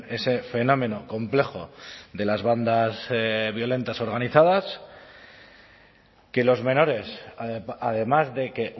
ese fenómeno complejo de las bandas violentas organizadas que los menores además de que